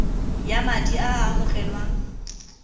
ya madi a a amogelwang